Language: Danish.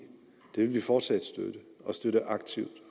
det vil vi fortsat støtte og støtte aktivt